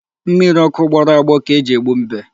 Mmiri ọkụ gbọrọ agbọ ka e ji egbu mbe.